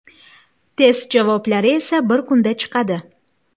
Test javoblari esa bir kunda chiqadi.